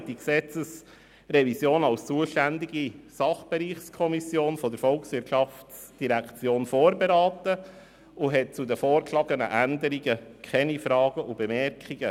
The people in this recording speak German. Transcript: Die FiKo hat die Gesetzesrevision als zuständige Sachbereichskommission der VOL vorberaten und hatte zu den vorgeschlagenen Änderungen keine Fragen und Bemerkungen.